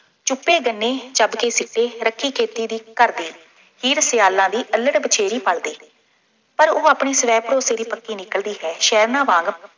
ਚੂਪੇ ਗੰਨੇ, ਚੱਬ ਕੇ ਸੁੱਟੇ, ਰੱਖੀ ਖੇਤੀ ਦੀ ਘਰਦੇ, ਹੀਰ ਸਿਆਲਾਂ ਦੀ ਅੱਲੜ੍ਹ ਬਛੇਰੀ ਪਲਦੇ, ਪਰ ਉਹ ਆਪਣੇ ਸਵੈ- ਭਰੋਸੇ ਦੀ ਪੱਕੀ ਨਿਕਲਦੀ ਹੈ। ਸ਼ਹਿਰਨਾਂ ਵਾਂਗ